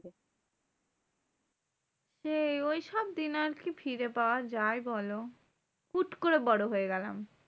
সেই ঐসব দিন আর কি ফিরে পাওয়া যায় বলো? হুট্ করে বড় হয়ে গেলাম।